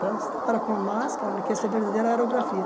Você trabalha com uma máscara né, que essa é a verdadeira aerografia.